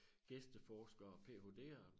Gæsteforskere og PhDer